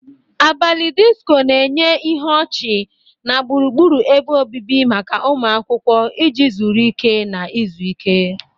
Abalị disiko na-enye ihe ọchị na gburugburu ebe obibi maka ụmụ akwụkwọ iji zuru ike na izu ike.